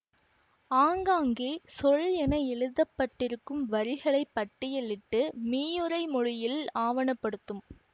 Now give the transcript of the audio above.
ஆங்காங்கே சொல் என எழுத பட்டிருக்கும் வரிகளை பட்டியலிட்டு மீயுரை மொழியில் ஆவணப்படுத்தும்